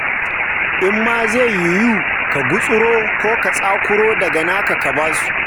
In ma zai yiwu, ka gutsuro ko ka tsakuro daga naka ka ba su.